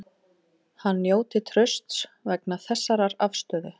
Hann njóti trausts vegna þessarar afstöðu